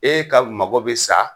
E ka magɔ bi sa